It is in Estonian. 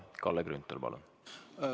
Kalle Grünthal, palun!